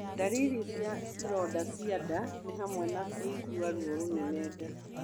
Ndariri cia ironda cia nda ni hamwe na kũigua ruo rũnene nda.